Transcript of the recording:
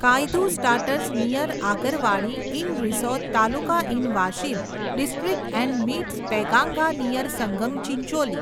Kayadhu starts near Agarwadi in Risod taluka in Washim district and meets Penganga near Sangam Chincholi